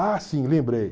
Ah, sim, lembrei.